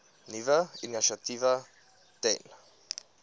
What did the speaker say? nuwe initiatiewe ten